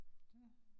Det